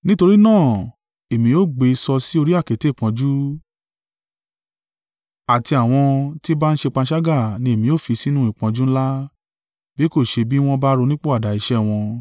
Nítorí náà, èmi ó gbé e sọ sí orí àkéte ìpọ́njú, àti àwọn tí ń bá a ṣe panṣágà ni èmi ó fi sínú ìpọ́njú ńlá, bí kò ṣe bí wọ́n bá ronúpìwàdà iṣẹ́ wọn.